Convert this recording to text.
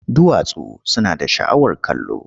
Duwatsu suna da sha'awar kallo.